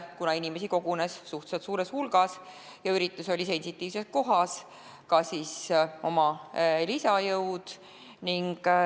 Kuna inimesi kogunes suhteliselt suurel hulgal ja üritus oli sensitiivses kohas, siis tõi politsei kohale ka lisajõud.